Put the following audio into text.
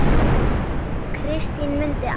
Kristín mundi allt.